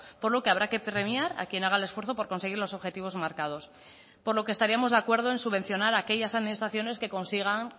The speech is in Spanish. por lo que habrá que premiar a quien haga el esfuerzo por conseguir los objetivos marcados por lo que estaríamos de acuerdo en subvencionar a aquellas administraciones que consigan